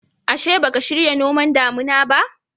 Ashe, ba ka shirya noman damina ba?